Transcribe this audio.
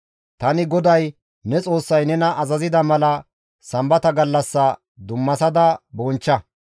« ‹Tani GODAY ne Xoossay nena azazida mala sambata gallassa dummasada bonchcha.